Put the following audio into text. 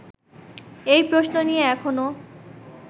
এই প্রশ্ন নিয়ে এখনো